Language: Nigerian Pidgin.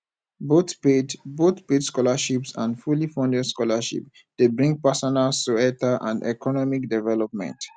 both paid both paid scholarships and fully funded scholarships de bring personal soietal and economic development